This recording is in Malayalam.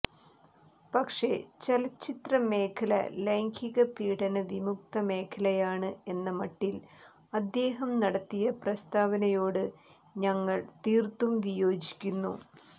പക്ഷേ ചലച്ചിത്ര മേഖല ലൈംഗിക പീഡന വിമുക്ത മേഖലയാണ് എന്ന മട്ടിൽ അദ്ദേഹം നടത്തിയ പ്രസ്താവനയോട് ഞങ്ങൾ തീർത്തും വിയോജിക്കുന്നു